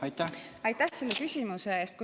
Aitäh selle küsimuse eest!